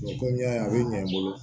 komi n y'a ɲɛ i bolo